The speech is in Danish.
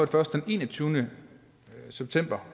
først den enogtyvende september